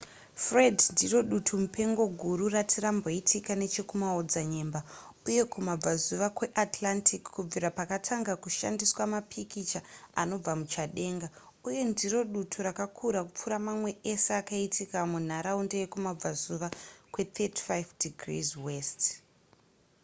fred ndiro dutu mupengo guru rati ramboitika nechekumaodzanyemba uye kumabvazuva kweatlantic kubvira pakatanga kushandiswa mapikicha anobva muchadenga uye ndiro dutu rakakura kupfuura mamwe ese akaitika mumharaunda yekumabvazuva kwe35 ° w